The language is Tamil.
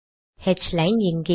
ஹ்லைன் இங்கே